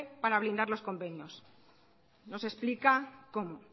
para blindar los convenios nos explica cómo